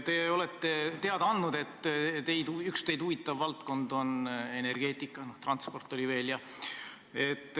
Te olete teada andnud, et üks teid huvitav valdkond on energeetika, teine on transport.